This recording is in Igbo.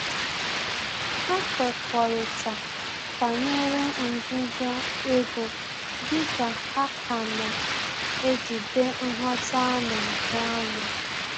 Ha kwekọrịta banyere nzuzo ego dị ka ha ka na-ejide nghọta ana ahụ anya